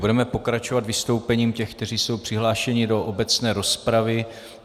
Budeme pokračovat vystoupením těch, kteří jsou přihlášeni do obecné rozpravy.